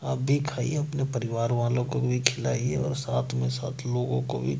आप भी खाइए अपने परिवार वालों को भी खिलाइए और साथ में सात लोगों को भी।